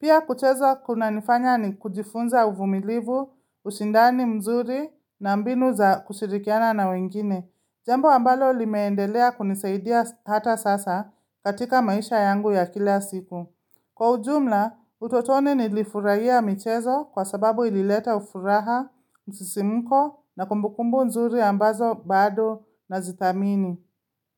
Pia kucheza kuna nifanya ni kujifunza uvumilivu, usindani mzuri na mbinu za kushirikiana na wengine. Jambo ambalo limeendelea kunisaidia hata sasa katika maisha yangu ya kila siku. Kwa ujumla, utotoni nilifurahia michezo kwa sababu ilileta ufuraha, msisimuko na kumbukumbu nzuri ambazo bado na zithamini.